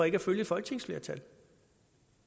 ikke at følge et folketingsflertal